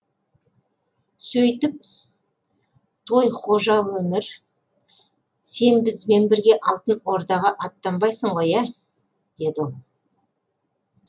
сөйтіп той хожа өмір сен бізбен бірге алтын ордаға аттанбайсың ғой ә деді ол